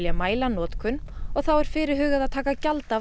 mæla notkun þá er fyrirhugað að taka gjald af